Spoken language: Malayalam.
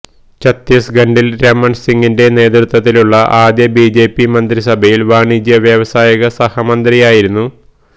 ചത്തീസഗഢില് രമണ് സിങിന്റെ നേതൃത്വത്തിലുള്ള ആദ്യ ബിജെപി മന്ത്രിസഭയില് വാണിജ്യവ്യവസായിക സഹമന്ത്രിയായിരുന്നു